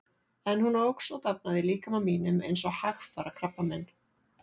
En hún óx og dafnaði í líkama mínum eins og hægfara krabbamein.